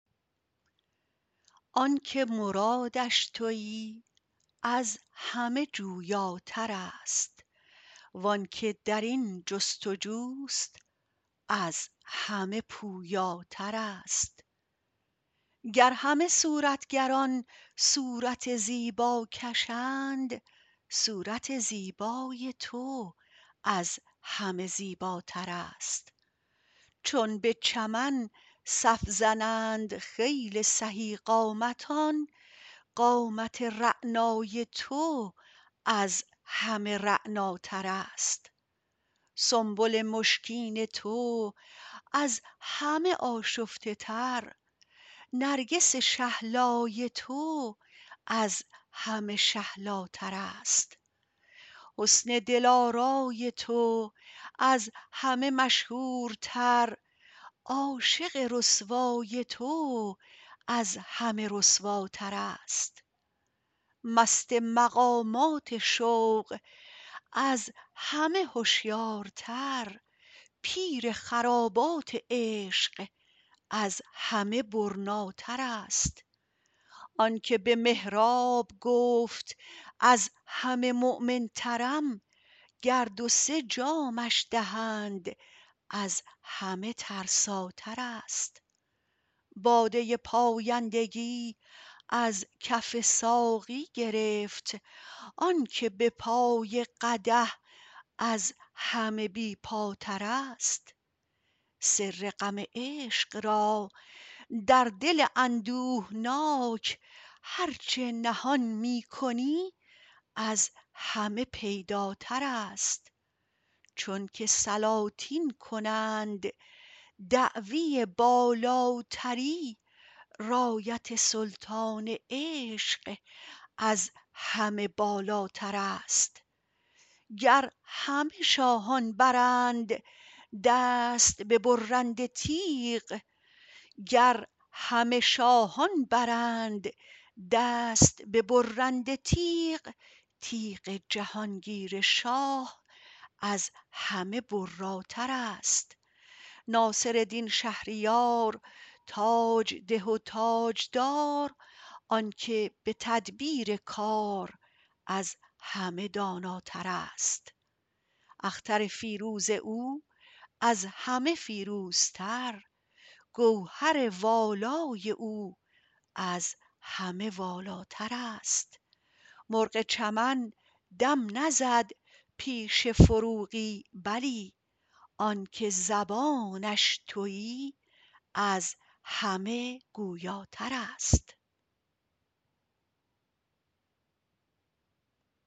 آن که مرادش تویی از همه جویاتر است وان که در این جستجو است از همه پویاتر است گر همه صورتگران صورت زیبا کشند صورت زیبای تو از همه زیباتر است چون به چمن صف زنند خیل سهی قامتان قامت رعنای تو از همه رعناتر است سنبل مشکین تو از همه آشفته تر نرگس شهلای تو از همه شهلاتر است حسن دل آرای تو از همه مشهورتر عاشق رسوای تو از همه رسواتر است مست مقامات شوق از همه هشیارتر پیر خرابات عشق از همه برناتر است آن که به محراب گفت از همه مؤمن ترم گر دو سه جامش دهند از همه ترساتر است باده پایندگی از کف ساقی گرفت آن که به پای قدح از همه بی پاتر است سر غم عشق را در دل اندوهناک هر چه نهان می کنی از همه پیداتر است چون که سلاطین کنند دعوی بالاتری رایت سلطان عشق از همه بالاتر است گر همه شاهان برند دست به برنده تیغ تیغ جهان گیر شاه از همه براتر است ناصردین شهریار تاج ده و تاج دار آن که به تدبیر کار از همه داناتر است اختر فیروز او از همه فیروزتر گوهر والای او از همه والاتر است مرغ چمن دم نزد پیش فروغی بلی آن که زبانش تویی از همه گویاتر است